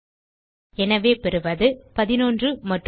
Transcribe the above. எனவே பெறுவது 11 மற்றும் ராஜு